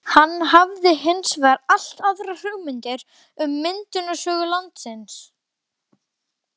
Hann hafði hins vegar allt aðrar hugmyndir um myndunarsögu landsins.